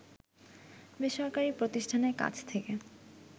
বেসরকারি প্রতিষ্ঠানের কাছ থেকে